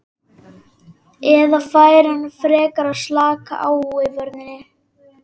Eða fær hann ekki frekar að slaka á í vörninni?